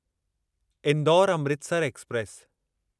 Indore Amritsar express